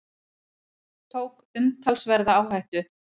Tók umtalsverða áhættu